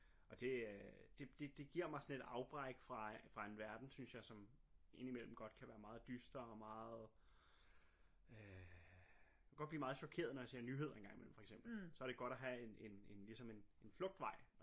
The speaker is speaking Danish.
Og det øh det det det giver mig sådan et afbræk fra fra en verden synes jeg som indimellem godt kan være meget dyster og meget øh godt blive meget chokeret når jeg ser nyheder en gang imellem for eksempel så er det godt at have en en ligesom en flugtvej